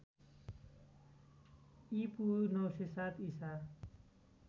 ईपू ९०७ ईसा